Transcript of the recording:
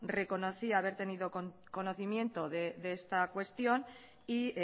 reconocía haber tenido conocimiento de esta cuestión y